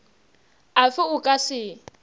a fe o ka se